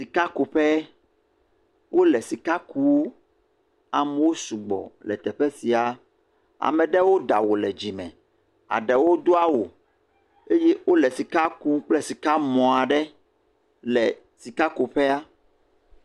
Sikakuƒe. Wole sika kuu. Amewo sugbɔ le teƒe sia. Ame ɖewo ɖe awu le dzime. Aɖewo do awu eye wole sika kum kple sikamɔ aɖe le sikakuƒea.